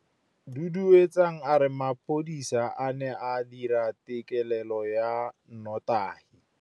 Duduetsang a re mapodisa a ne a dira têkêlêlô ya nnotagi.